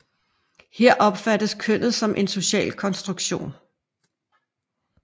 Her opfattes kønnet som en social konstruktion